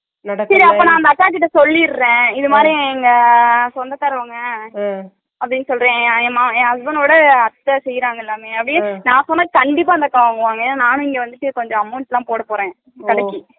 சரி அப்பா அந்த அக்காட்ட நான் சொல்லிடுறேன் இந்தமாரி எங்க சொந்தகாரங்க உம் அப்பிடின்னு சொல்லுறேன் எங்க எங்க husband ஓட அத்த செய்றாங்க எல்லாமே ஏன்னா நான்சொன்ன அந்த அக்கா கண்டிப்பா வாங்குவாங்க ஏன்னா நண்ணும் இங்க வந்துட்டு amount போடா போறேன் கடைக்கு